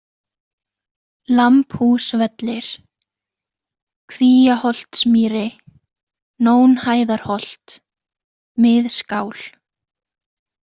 Lambhúsvellir, Kvíaholtsmýri, Nónhæðarholt, Miðskál